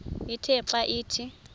ithe xa ithi